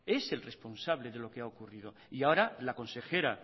es el responsable de lo que ha ocurrido y ahora la consejera